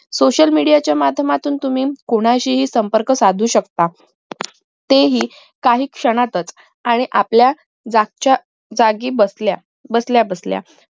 social media च्या माध्यमातून तुम्ही कोणाशीही संपर्क साधू शकता तेही काही क्षणातच आणि आपल्या जागच्या जागी बसल्या बसल्या बसल्या